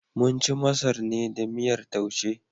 Mun ci masar ne da miyar Taushe.